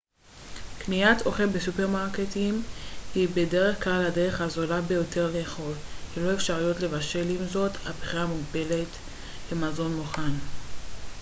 קניית אוכל בסופרמרקטים היא בדרך כלל הדרך הזולה ביותר לאכול ללא אפשרויות לבשל עם זאת הבחירה מוגבלת למזון מוכן